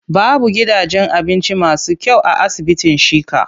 Babu gidajen abinci masu kyau a asibitin Shika.